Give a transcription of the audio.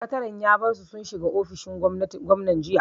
Sakataren ya bar su sun shiga ofishin gwamnan jiya.